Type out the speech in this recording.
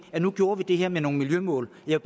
at nu gjorde vi det her med nogle miljømål jeg